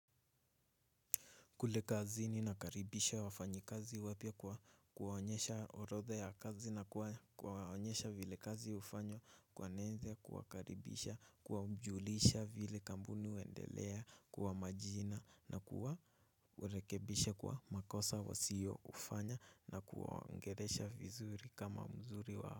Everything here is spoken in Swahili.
Kule kazini nakaribisha wafanyikazi wapya kuwaonyesha orodha ya kazi na kuwaonyesha vile kazi ufanyo kueneza kuwakaribisha kuwajulisha vile kampuni huendelea kwa majina na kuwarekebisha kwa makosa wasiyoufanya na kuwaongelesha vizuri kama mzuri wa.